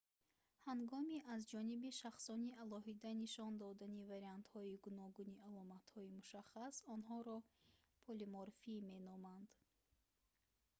ҳангоми аз ҷониби шахсони алоҳида нишон додани вариантҳои гуногуни аломатҳои мушаххас онҳоро полиморфӣ меноманд